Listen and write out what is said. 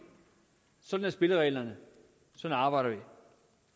sådan er spillereglerne sådan arbejder vi